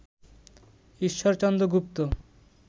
Ishwarchandra Gupta